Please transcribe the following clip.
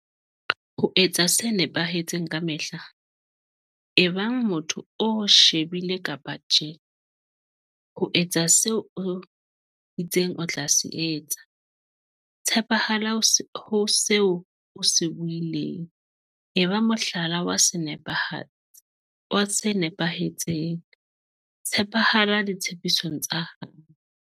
Ho etsa se nepahetseng ka mehla, ebang motho o o shebile kapa tjhe, ho etsa seo o itseng o tla se etsa, tshepahala ho seo o se buileng, eba mohlala wa se nepahetseng, tshepahala ditshepisong tsa hao.